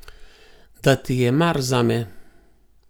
Da ti je mar zame.